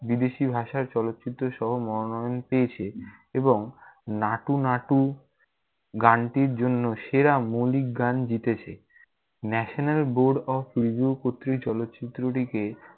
বিদেশী ভাষার চলচ্চিত্র সহ মনোনয়ন পেয়েছে এবং নাটু নাটু গানটির জন্য সেরা মৌলিক গান জিতেছে । national board of review কর্তৃক চলচ্চিত্রটিকে